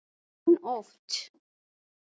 Fer hann oft?